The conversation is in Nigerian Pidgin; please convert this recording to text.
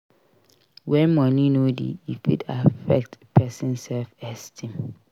When money no dey e fit affect person self esteem